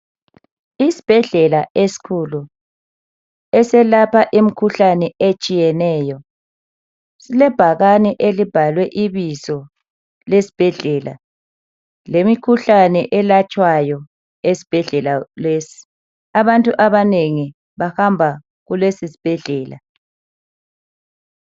Isibhedlela eskhulu eselapha imkhuhlane etshiyeneyo .Silebhakane elibhalwe ibizo lesbhedlela lemkhuhlane elatshwayo esbhedlela lesi . Abantu abanengi bahamba kulesisbhedlela .